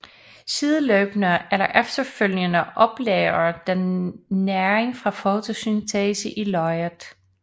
Sideløbende eller efterfølgende oplagrer den næring fra fotosyntese i løget